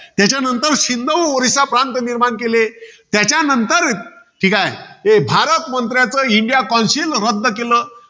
त्यानंतर सिंध ओरिसा प्रांत निर्माण केले. त्याच्यानंतर, ठीकाय. ते भारत मंत्र्याचं India councile रद्द केलं.